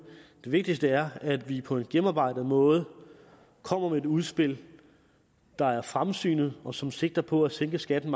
det vigtigste er at vi på en gennemarbejdet måde kommer med et udspil der er fremsynet og som sigter på at sænke skatten